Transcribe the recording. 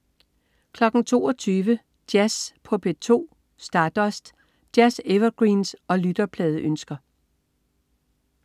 22.00 Jazz på P2. Stardust. Jazz-evergreens og lytterpladeønsker